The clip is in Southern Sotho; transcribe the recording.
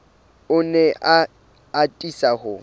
o ne a atisa ho